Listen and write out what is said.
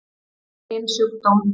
Sinn eigin sjúkdóm.